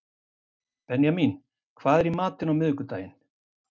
Benjamín, hvað er í matinn á miðvikudaginn?